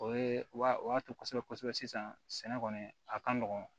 O ye o y'a to kosɛbɛ kosɛbɛ sisan sɛnɛ kɔni a ka nɔgɔn